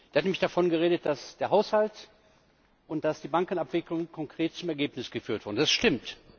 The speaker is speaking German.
Er hat nämlich davon geredet, dass der Haushalt und dass die Bankenabwicklung konkret zum Ergebnis geführt wurden. Das stimmt.